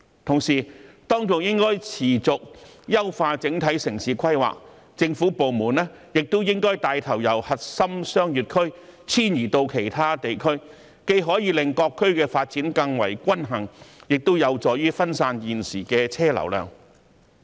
同時，當局應該持續優化整體城市規劃，政府部門亦應該帶頭由核心商業區遷移到其他地區，既可以令各區發展更為均衡，亦有助於分散現時的車流量。